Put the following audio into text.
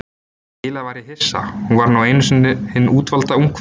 Eiginlega var ég hissa, hún var nú einu sinni hin útvalda ungfrú